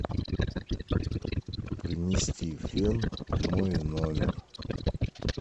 принести фен в мой номер